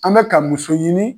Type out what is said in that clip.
An bɛ ka muso ɲini